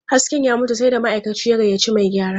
Hasken ya mutu, sai da ma'aikacin ya gayyaci mai gyara.